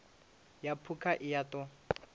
ya phukha i a ṱo